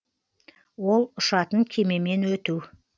ол ұшатын кемемен өту